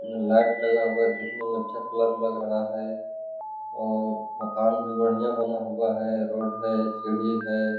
उम्म light लगा हुआ देखने में अच्छा कलर लग रहा है और मकान भी बढ़िया बना हुआ है रोड है सीढ़ी है।